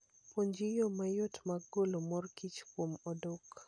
Puonjri yore mayot mag golo mor kich kuom odok.